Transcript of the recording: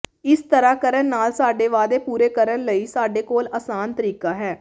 ਇਸ ਤਰ੍ਹਾਂ ਕਰਨ ਨਾਲ ਸਾਡੇ ਵਾਅਦੇ ਪੂਰੇ ਕਰਨ ਲਈ ਸਾਡੇ ਕੋਲ ਆਸਾਨ ਤਰੀਕਾ ਹੈ